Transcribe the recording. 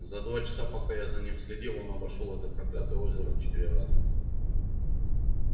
за два часа пока я за ним следил он обошёл это проклятое озеро четыре раза